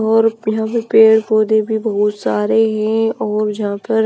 और यहां पर पेड़ पौधे भी बहुत सारे हैं और जहां पर--